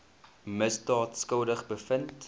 misdaad skuldig bevind